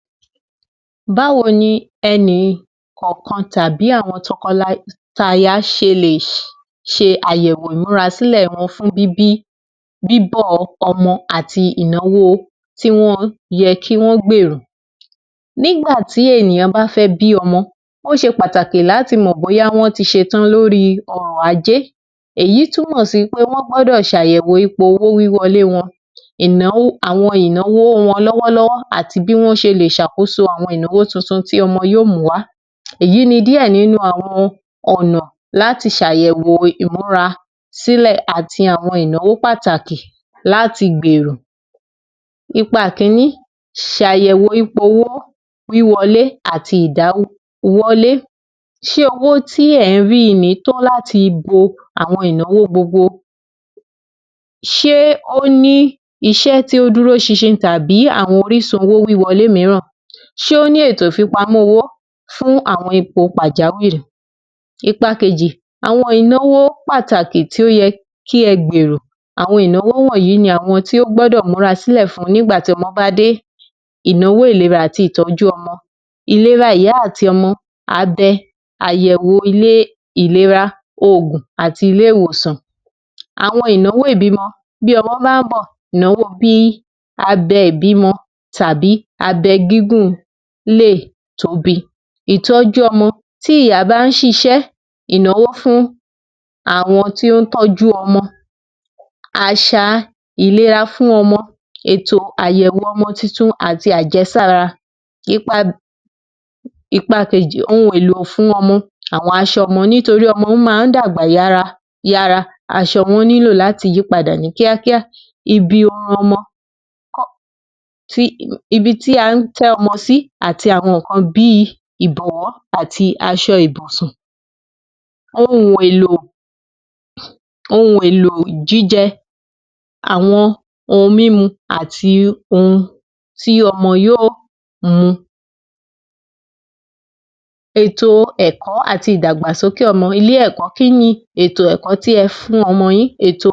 00627 Bawo ni e̩nìkò̩ò̩kan tàbí àwo̩n to̩ko̩taya s̩e lè s̩e àyè̩wò ìmúrasílè̩ bíbí bíbò̩ o̩mọ àti ìnáwó tí wo̩n ye̩ kí wó̩n gbèrò. Nígbà tí ènìyàn bá fé̩ bí ọ̩mo̩, ó s̩e pàtàkì láti mò̩ bóya wó̩n ti s̩etán lóri o̩rọ̀ ajé, èyí túmò̩ sí pé wo̩n gbó̩dọ̀ s̩àyè̩wò ipò owó wíwo̩lé wo̩n. Ìnáwó, àwọn ìnáwó wọn ló̩wó̩ló̩wó̩ àti bí wo̩n s̩e lè ṣàkóso àwo̩n ìnáwó wo̩n titun tí o̩mo̩ yóò mú wá. Èyí ni díè̩ nínu àwo̩n ò̩nà láti s̩àyè̩wò ìmúrasílẹ̀ àti àwo̩n ìnáwó pàtàkì láti gbèrò. Ipa kìíní - s̩àyè̩wò ipò owó wíwo̩lé àti ìdáwówo̩lé. S̩e owó tí è̩ ń ri i ni tó láti bo gbogbo àwo̩n ìnáwó gbogbo? S̩e ó ní is̩é̩ tó dúrós̩ins̩in àbí àwo̩n orísun sísanwó̩ wo̩lé mìíràn? Sé ó ní ètò ìfipamó̩ owó fún àwo̩n ipò pàjáwìrì? Ipa kejì - àwo̩n ìnáwó pàtàkì tí ó ye̩ kí e̩ gbèrò. Àwo̩n ìnáwó wò̩nyí ni àwo̩n ìnáwó tí ó gbó̩dò̩ múrasílè̩ fún nígbà tí o̩mo̩ bá dé. Ìnáwó ìlera àti ìtó̩jú o̩mo̩. Ìlera ìyá àti o̩mo̩, abe̩, àyè̩wò ìlera, òògùn, àti ilé-ìwòsàn. Àwo̩n ìnáwó ìbímo̩, tí o̩mo̩ bá ń bò̩, ìnáwó bi abe̩ ìbímo̩ tàbí abe̩ gígun lè tóbi. Ìtó̩jú o̩mo̩, tí ìyá bá ń s̩is̩é̩ ìnáwó fún àwọn tó ń tó̩jú o̩mo̩, às̩à ìlera fún ọmo̩, èto àyè̩wò o̩mo̩ tuntun àti àje̩sára. Ipa Ipa kejì – ohun èlò fún o̩mo̩. Àwo̩n as̩o̩ o̩mo̩ nítorí o̩mo̩ máa ń dàgbà yára, as̩o̩ wo̩n nílò láti yípadà ní kíákíá. Ibi o̩mo̩, ibi tí a ń té̩ o̩mo̩ sí ati àwo̩n nǹkan bí i ìbò̩wó̩ àti as̩o̩ ìbùsùn. Ohun èlò ohun èlò jíje̩ àti àwo̩n ohun mímu àti ohun tí o̩mo̩ yóò mu, ètò è̩kó̩ àti ìdàgbàsókè o̩mo̩. Kí ni ètò è̩kó̩ àti ìdàgbàsókè tí e̩ fún o̩mo̩ yín? Èto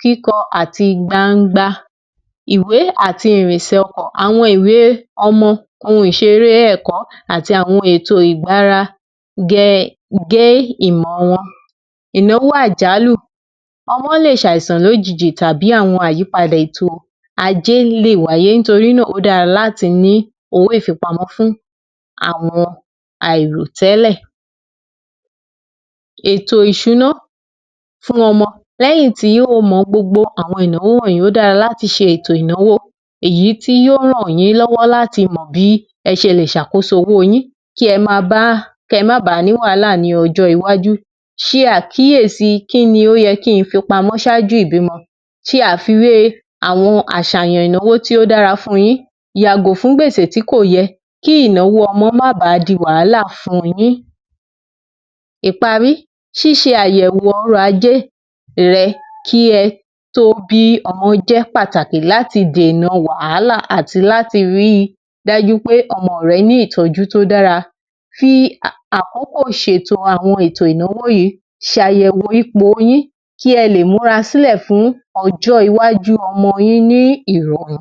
kíko̩ àti gbangba, ìwé àti ìrìnsè̩ o̩kò̩. Àwo̩n ìwé ọmo̩, ohun ìs̩eré è̩kó̩ àti àwo̩n ohun ètò ìgbára ge̩ gé ìmò̩ wo̩n. Ìnáwó àjálù - ọ̩mo̩ s̩àìsàn lójijì tàbí àwo̩n àyípadà ètò ajé lè wáyé nítorí náà, ó dára láti ní owó ìfipamó̩ fún àwọn àìròté̩lẹ̀. Ètò ìs̩úná fún o̩mo̩, lé̩yìn tí ó mo̩ gbogbo àwo̩n ìnáwó wò̩nyí ó dára láti s̩e ètò ìnáwó èyí tí yóò ràn yín ló̩wó̩ láti mò̩ bí e̩ s̩e lè sakoso owóo yín kí e̩ máa baà kí e̩ máa baà ní wàhálà ní o̩jó̩ iwájú. S̩e àkíyèsi kí ni ó ye̩ kí ń fipamó̩ s̩áájú ìbímo̩. S̩e àfiwé àwo̩n às̩àyàn ìnáwó tí ó dára fun yín, yàgò fún gbèsè tí kò ye̩ kí ìnáwó o̩mo̩ má baà di wàhálà fun yín. Ìparí - s̩ís̩e àyè̩wò o̩rò̩ ajé irè̩ kí e̩ tó bí o̩mo̩ jé̩ pàtàkì láti dènà wàhálà àti láti rí i dájú pé o̩mo̩ re̩ ní ìtó̩jú tó dára. Fi àkókò s̩ètò àwo̩n ìnáwó yìí, s̩àyè̩wò ipò yín kí e̩ lè múrasílè̩ fún o̩jó̩ iwájú o̩mo̩ yín ní ìrò̩rùn.